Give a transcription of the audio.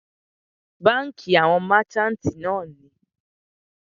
Bánkì àwọn merchantí náà wà.